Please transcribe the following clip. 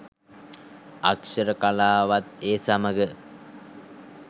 අක්‍ෂර කලාවත් ඒ සමඟ